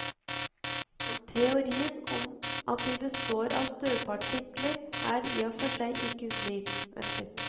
Teorien om at de består av støvpartikler, er i og for seg ikke ny.